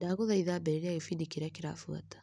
Ndagũthaitha ambĩrĩria gĩbindi kĩrĩa kĩrabuata .